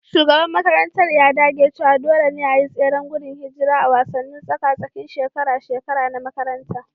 Shugaban makarantar ya dage cewa dole ne a yi tseren gudun hijira a wasannin tsaka-tsakin shekara-shekara na makaranta